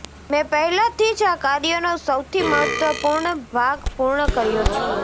મેં પહેલાથી જ આ કાર્યનો સૌથી મહત્વપૂર્ણ ભાગ પૂર્ણ કર્યો છે